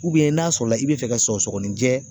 n'a sɔrɔ la i bɛ fɛ ka sɔgɔsɔgɔninjɛ